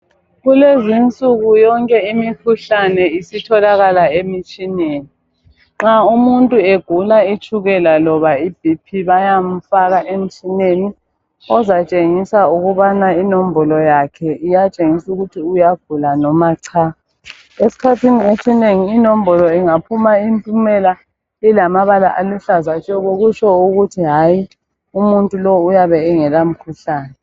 Kulezinsuku yonke imikhuhlane isitholakala emitshineni. Nxa umuntu egula itshukela loba iBP bayamfaka emtshineni ozatshengisa ukubana inombolo yakhe iyatshengisa ukuthi uyagula noma cha. Esikhathini esinengi inombolo ingaphuma impumela ilamabala aluhlaza tshoko kutsho ukuthi hayi, umuntu lowo uyabe engela mkhuhlane.